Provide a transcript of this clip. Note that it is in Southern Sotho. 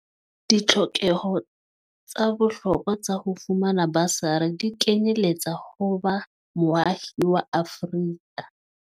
Ditlhokeho tsa bohlokwa tsa ho fumana basari di kenyeletsa ho ba moahi wa Afrika